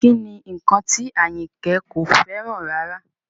Kí ni nnkan tí Àyìnkẹ́ kò fẹ́ràn rárá?